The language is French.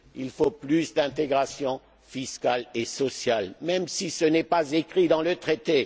du gué. Il faut plus d'intégration fiscale et sociale, même si ce n'est pas écrit dans